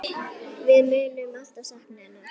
Við munum alltaf sakna hennar.